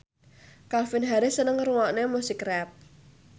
Calvin Harris seneng ngrungokne musik rap